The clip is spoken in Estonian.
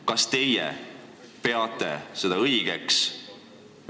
Kas teie peate seda õigeks?